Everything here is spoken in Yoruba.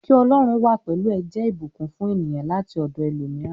Ki Ọlọ́run wà pẹlú ẹ jẹ ìbùkún fún ènìyàn láti ọdọ ẹlòmíràn.